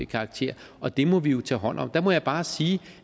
karakter og det må vi jo tage hånd om der må jeg bare sige